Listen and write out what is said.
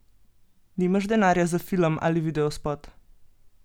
Nimaš denarja za film ali videospot?